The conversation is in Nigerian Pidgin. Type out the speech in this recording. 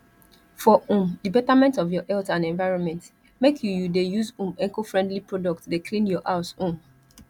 for um di betterment of your health and environment make you you dey use um ecofriendly product dey clean your house um